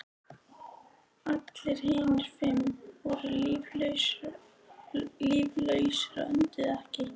Allir hinir fimm voru líflausir og önduðu ekki.